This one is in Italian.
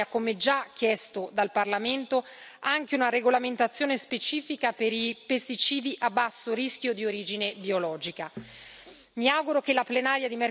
In questo contesto sarà necessaria, come già chiesto dal Parlamento, anche una regolamentazione specifica per i pesticidi a basso rischio di origine biologica.